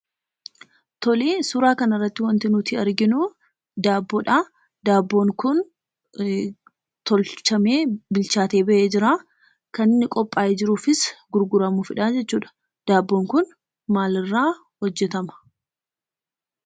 Tolee, suuraa kanarratti wanti nuti arginuu daabbodhaa. Daabboon kun tolchamee bilchaatee ba'ee jiraa. kan inni qophaa'ee jiruufis gurguramuufidhaa jechuudha. Daabbon kun maalirraa hojjetama?